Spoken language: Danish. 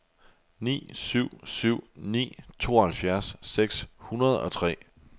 ni syv syv ni tooghalvfjerds seks hundrede og tre